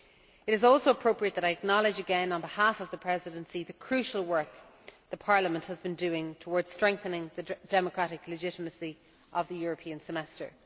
It is also appropriate that I acknowledge again on behalf of the Presidency the crucial work Parliament has been doing towards strengthening the democratic legitimacy of the European Semester.